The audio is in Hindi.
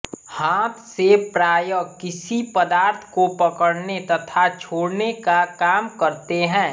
हाथ से प्रायः किसी पदार्थ को पकड़ने तथा छोड़ने का काम करते हैं